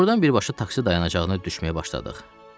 Ordan birbaşa taksi dayanacağına düşməyə başladıq.